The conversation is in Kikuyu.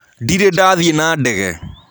Ndĩrĩ ndathĩĩ na ndege.